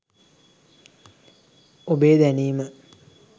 ඔබේ දැනීම